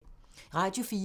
Radio 4